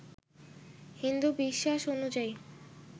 হিন্দু বিশ্বাস অনুযায়ী